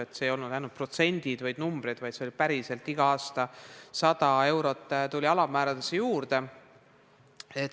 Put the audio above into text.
Need ei olnud ainult protsendid ja numbrid, vaid igal aastal tuligi päriselt 100 eurot alammäärale juurde.